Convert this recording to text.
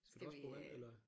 Skal du også bruge vand eller